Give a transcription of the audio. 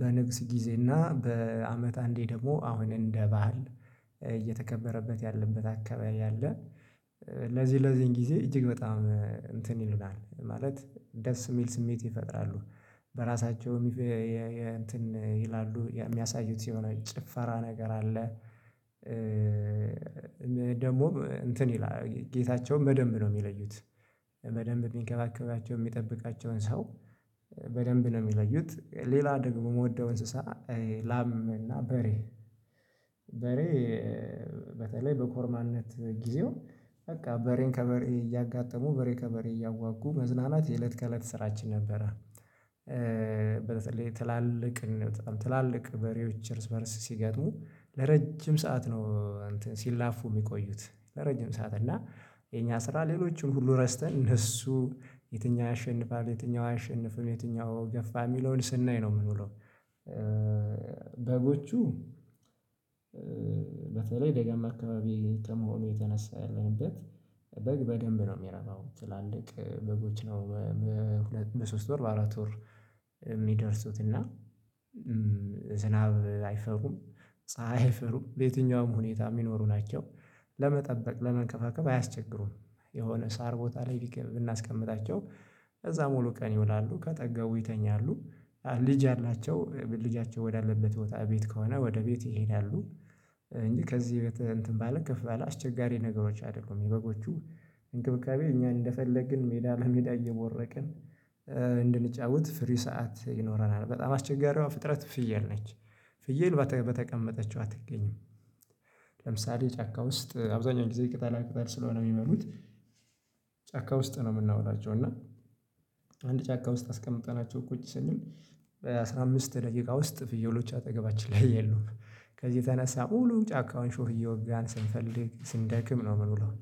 በንግስ ጊዜና በአመት አንዴ ደግሞ አሁን እንደ ባህል እየተከበረበት ያለበት አካባቢ አለ ለዚህ ለዚህን ጊዜ እጅግ በጣም እንትን ይሉናል ማለት ደስ የሚል ስሜት ይፈጥራሉ በራሳቸውም ይላሉ የሚያሳዩት የሆነ ጭፈራ ነገር አለ ደግሞ እንትን ይላል ጌታቸውን በደንብ ነው የሚለዩት በደንብ ሚንከባከባቸው የሚጠብቃቸውን ሰው በደንብ ነው የሚለዩት ሌላ ደግሞ የምወደው እንስሳ ላም እና በሬ በሬ በተለይ በኮርማነት ጊዜው በቃ በሬን ከበሬ እያጋጠሙ በሬ ከበሬ እያዋጉ መዝናናት የእለት ከእለት ስራችን ነበረ በተለይ ትላልቅ በጣም ትላልቅ በሬዎች እርስ በእርስ ሲገጥሙ ለረጅም ሰዓት ነው እንትን ሲላፉ የሚቆዩት ለረጅም ሰዓት እና የኛ ስራ ሌሎችን ሁሉ ረስተን እነሱ የትኛው ያሸንፋል የትኛው አያሸንፍም የትኛው ገፋ የሚለውን ስናይ ነው የምንውለው በጎቹ በተለይ ደጋማ አካባቢ ከመሆኑ የተነሳ ያለንበት በግ በደንብ ነው የሚረባው ትላልቅ በጎች ነው በሶስት ወር በአራት ወር የሚደርሱት እና ዝናብ አይፈሩም ፀሀይ አይፈሩም በየትኛውም ሁኔታ የሚኖሩ ናቸው ለመጠበቅ ለመንከባከብ አያስቸግሩም የሆነ ሳር ቦታ ላይ ብናስቀምጣቸው እዛ ሙሉ ቀን ይውላሉ ከጠገቡ ይተኛሉ ልጅ ያላቸው ልጃቸው ወዳለበት ቦታ ቤት ከሆነ ወደ ቤት ይሄዳሉ እንጂ ከዚህ እንትን ባለ ከፍ ባለ አስቸጋሪ ነገሮች አይደሉም የበጎቹ እንክብካቤ እኛ እንደፈለግን ሜዳ ለሜዳ እየቦረቅን እንድንጫወት ፍሪ ሰዓት ይኖረናል በጣም አስቸጋሪዋ ፍጥረት ፍየል ነች ፍየል በተቀመጠችው አትገኝም ለምሳሌ ጫካ ውስጥ አብዛኛው ጊዜ ቅጠላ ቅጠል ስለሆነ የሚመበሉት ጫካ ውስጥ ነው የምናውላቸው እና አንድ ጫካ ውስጥ አስቀምጠናቸው ቁጭ ስንል በአሥራ አምስት ደቂቃ ውስጥ ፍየሎች አጠገባችን ላይ የሉም ከዚህ የተነሳ ሙሉ ጫካውን ሾህ እየወጋን ስንፈልግ ስንደክም ነው ምን ውለው